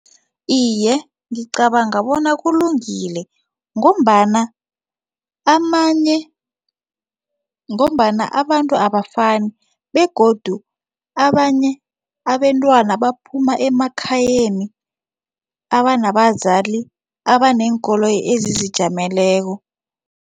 Iye, ngicabanga bona kulungile ngombana amanye ngombana abantu abafani begodu abanye abentwana baphuma emakhayeni abanabazali abaneenkoloyi ezizijameleko.